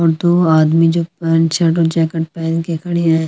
ओर दो आदमी जो पेंट शर्ट ओर जेकेट पेहन के खड़े है।